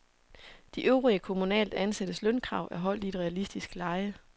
De øvrige kommunalt ansattes lønkrav er holdt i et realistisk leje.